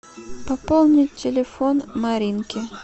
пополнить телефон маринки